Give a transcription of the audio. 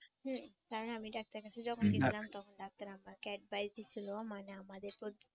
হম কারন আমি ডাক্তারের কাছে যখন গেছিলাম তখন ডাক্তার আমাকে advise দিছিল মানে আমাদের